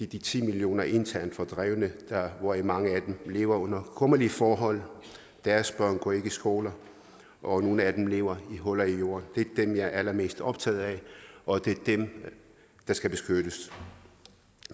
de ti millioner internt fordrevne hvoraf mange af dem lever under kummerlige forhold deres børn går ikke i skole og nogle af dem lever i huller i jorden det er dem jeg er allermest optaget af og det er dem der skal beskyttes